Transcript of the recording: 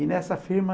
E nessa firma,